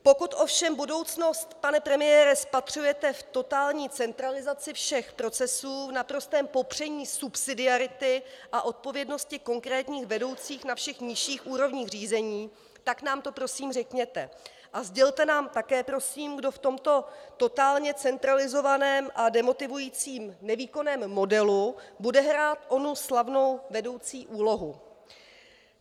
Pokud ovšem budoucnost, pane premiére, spatřujete v totální centralizaci všech procesů, v naprostém popření subsidiarity a odpovědnosti konkrétních vedoucích na všech nižších úrovních řízení, tak nám to prosím řekněte a sdělte nám také prosím, kdo v tomto totálně centralizovaném a demotivujícím nevýkonném modelu bude hrát onu slavnou vedoucí úlohu.